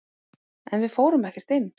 En við fórum ekkert inn.